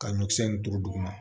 Ka ɲɔkisɛ nin don duguma